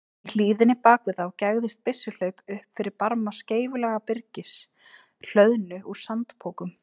Í hlíðinni bak við þá gægðist byssuhlaup upp fyrir barma skeifulaga byrgis, hlöðnu úr sandpokum.